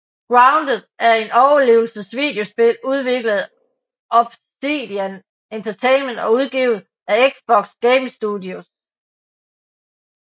Grounded er et overlevelsesvideospil udviklet af Obsidian Entertainment og udgivet af Xbox Game Studios